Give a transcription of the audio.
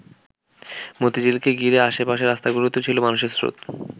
মতিঝিলকে ঘিরে আশে-পাশের রাস্তাগুলোতেও ছিল মানুষের স্রোত।